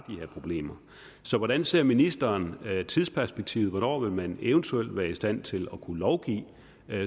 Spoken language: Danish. her problemer så hvordan ser ministeren tidsperspektivet hvornår vil man eventuelt være i stand til at kunne lovgive